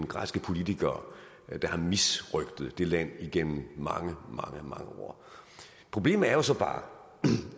græske politikere har misrøgtet det land igennem mange mange år problemet er jo så bare